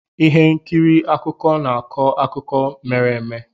Ihe nkiri akụkọ na-akọ akụkọ mere eme.